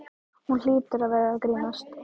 Hún hlýtur að vera að grínast.